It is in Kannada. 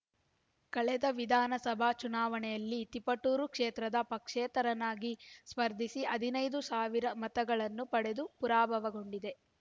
ಕಳೆದ ವಿಧಾನಸಭಾ ಚುನಾವಣೆಯಲ್ಲಿ ತಿಪಟೂರು ಕ್ಷೇತ್ರದಿಂದ ಪಕ್ಷೇತರನಾಗಿ ಸ್ಪರ್ಧಿಸಿ ಹದಿನೈದು ಸಾವಿರ ಮತಗಳನ್ನು ಪಡೆದು ಪರಾಭವಗೊಂಡಿದ್ದೆ